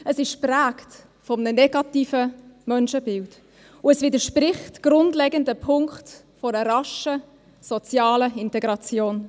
Es ist geprägt von einem negativen Menschenbild, und es widerspricht in grundlegenden Punkten einer raschen sozialen Integration.